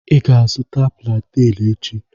I ga-azụta planten echi.